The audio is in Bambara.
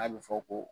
A bɛ fɔ ko